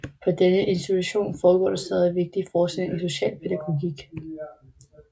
På denne institution foregår der stadig vigtig forskning i specialpædagogik